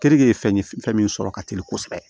Keninke ye fɛn min sɔrɔ ka teli kosɛbɛ